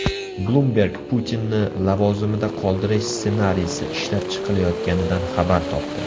Bloomberg Putinni lavozimida qoldirish ssenariysi ishlab chiqilayotganidan xabar topdi.